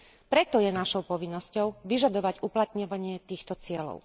Preto je našou povinnosťou vyžadovať uplatňovanie týchto cieľov.